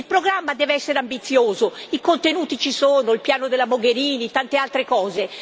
Il programma deve essere ambizioso i contenuti ci sono, il piano della Mogherini, tante altre cose.